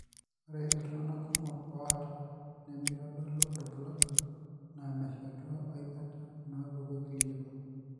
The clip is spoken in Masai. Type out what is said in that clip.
Ore iltung'anak kumok oata nemeitodolu irbulabul naa meshetu aikata inaapuku eclinical.